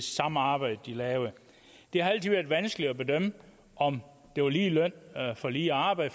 samme arbejde de lavede det har altid været vanskeligt at bedømme om det var lige løn for lige arbejde